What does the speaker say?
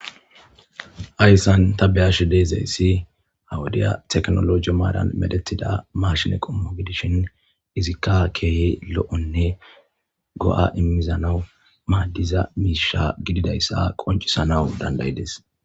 Hayssan ta beyashe deezayssi hawudiya teknologi maadan medethida marshine qommo gidishin izikka keehi lo7onne go7a immizanawu maaddiza miisha gididayssa qoncisanawu dandayides